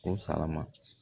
O sara ma